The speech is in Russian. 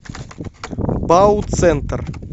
бауцентр